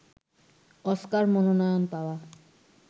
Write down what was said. Oscar মনোনয়ন পাওয়া